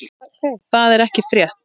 Það er ekki frétt.